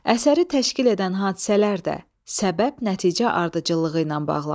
Əsəri təşkil edən hadisələr də səbəb-nəticə ardıcıllığı ilə bağlanır.